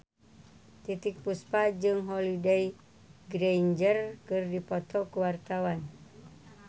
Titiek Puspa jeung Holliday Grainger keur dipoto ku wartawan